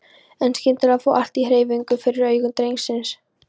En skyndilega fór allt á hreyfingu fyrir augum drengsins.